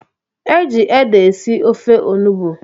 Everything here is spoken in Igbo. Eji ede esi ofe onugbu